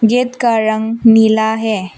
Gate का रंग नीला है।